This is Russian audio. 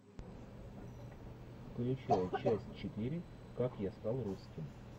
включай часть четыре как я стал русским